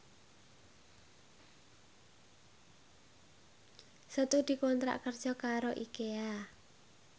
Setu dikontrak kerja karo Ikea